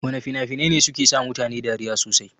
Wana fina-finai ne suke sa mutane dariya sosai?